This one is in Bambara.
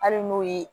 Hali n'o ye